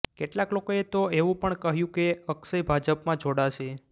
કેટલાક લોકોએ તો એવુ પણ કહ્યુ કે અક્ષય ભાજપમાં જોડાશે